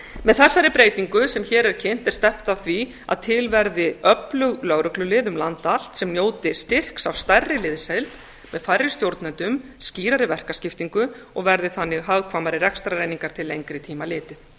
með þessari breytingu sem hér er kynnt er stefnt að því að til verði öflug lögreglulið um land allt sem njóti styrks af stærri liðsheild með færri stjórnendum skýrari verkaskiptingu og verði þannig hagkvæmari rekstrareiningar til lengri tíma litið